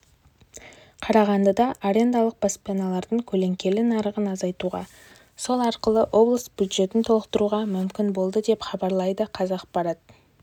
қарағандыда арендалық баспаналардың көлеңкелі нарығын азайтуға сол арқылы облыс бюджетін толықтыруға мүмкін болды деп хабарлайды қазақпарат